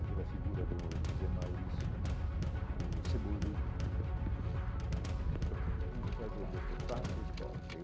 Aquela figura do José Maurício né, o Cebolinha, o que que precisa fazer doutor, faça esporte.